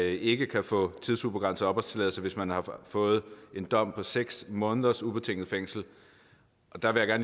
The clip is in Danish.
ikke kan få tidsubegrænset opholdstilladelse hvis man har fået en dom på seks måneders ubetinget fængsel der vil jeg